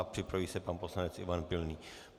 A připraví se pan poslanec Ivan Pilný.